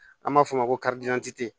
N'an b'a f'o ma ko